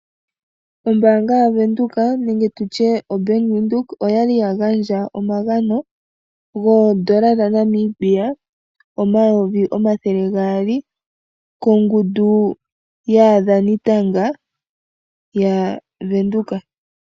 Ombaanga yaWindheok nenge tutye oBank Windheok oyali yagandja omagano N$2000000 kongundu yaadhani tanga yaWindheok.